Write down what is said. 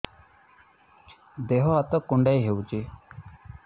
ଦେହ ହାତ କୁଣ୍ଡାଇ ହଉଛି